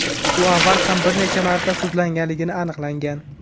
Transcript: U avval ham bir necha marta sudlanganligi aniqlangan.